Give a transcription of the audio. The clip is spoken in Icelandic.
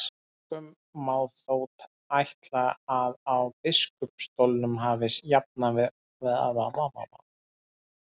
Einkum má þó ætla að á biskupsstólunum hafi jafnan farið fram kennsla.